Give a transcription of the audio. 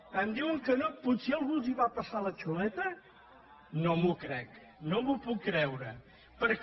) em diuen que no potser algú els va passar la xuleta no m’ho crec no m’ho puc creure acabar